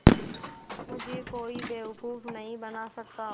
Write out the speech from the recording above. मुझे कोई बेवकूफ़ नहीं बना सकता